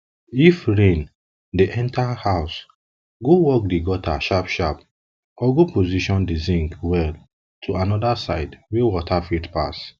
if rain dey enter house go work the gutter sharp sharp or go position the zinc well to another side wey water fit pass